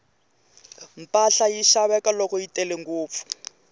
mpahla yi xaveka loko yi tele ngopfu